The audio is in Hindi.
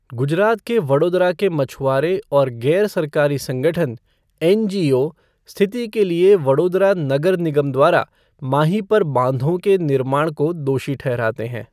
गुजरात के वडोदरा के मछुआरे और गैर सरकारी संगठन, एनजीओ स्थिति के लिए वडोदरा नगर निगम द्वारा माही पर बांधों के निर्माण को दोषी ठहराते हैं।